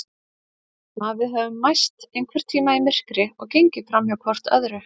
Nema við höfum mæst einhvern tíma í myrkri og gengið framhjá hvort öðru.